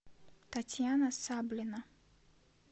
татьяна саблина